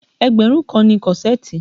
Ẹgbẹ̀rún kan ni kọ́ṣẹ̀ẹ̀tì